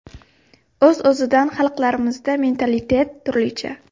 O‘z-o‘zidan xalqlarmizda mentalitet turlicha.